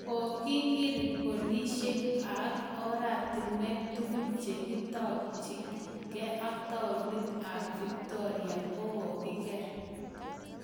Kokikir polishek ak oratinwek tugul che takchin gee taonit ab Victoria ko kogigeer.